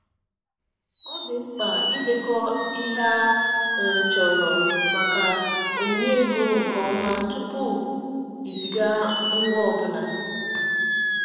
Ọ dị mkpa idekọ ihe a um chọrọ maka onyinye ego nke ọma tupu iziga ngwa ọ bụla.